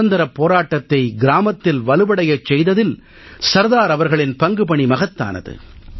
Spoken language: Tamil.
சுதந்திரப் போராட்டத்தை கிராமத்தில் வலுவடையச் செய்ததில் சர்தார் அவர்களின் பங்குபணி மகத்தானது